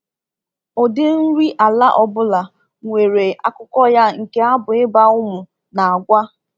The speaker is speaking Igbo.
Ụdị nri ala ọ bụla nwere akụkọ ya nke abụ ịba ụmụ na-agwa.